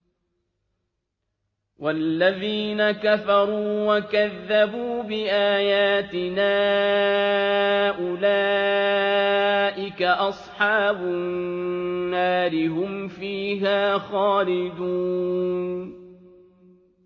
وَالَّذِينَ كَفَرُوا وَكَذَّبُوا بِآيَاتِنَا أُولَٰئِكَ أَصْحَابُ النَّارِ ۖ هُمْ فِيهَا خَالِدُونَ